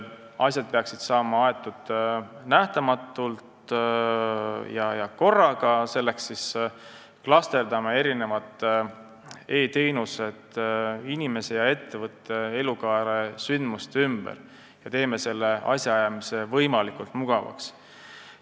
Asjad peaksid saama aetud nähtamatult ja korraga, selleks klasterdame e-teenused inimese ja ettevõtte elukaare sündmuste ümber ja teeme asjaajamise võimalikult mugavaks.